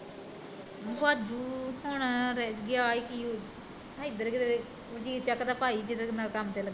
ਭਜੁ ਹੁਣ ਗਿਆ ਈ ਕੀ ਉਹ ਹੇਧਰ ਕਿੱਦਰੇ ਜੀ ਚੱਕ ਦਾ ਭਾਈ ਜਿਹਦੇ ਨਾਲ਼ ਕੰਮ ਤੇ ਲੱਗੇ